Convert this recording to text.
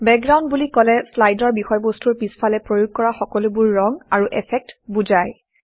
background বুলি কলে শ্লাইডৰ বিষয়বস্তুৰ পিছফালে প্ৰয়োগ কৰা সকলোবোৰ ৰং আৰু এফেক্টক বুজায়